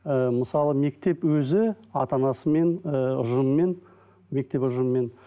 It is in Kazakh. і мысалы мектеп өзі ата анасымен ыыы ұжымымен мектеп ұжымымен